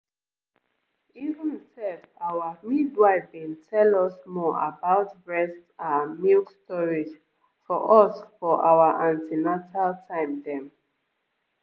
even sef our midwife bin tell us more about breast ahhh milk storage for us for our an ten atal time dem.